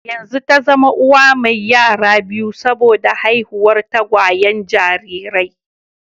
Yanzu ta zama uwa mai yara biyu saboda haihuwar tagwayen jarirai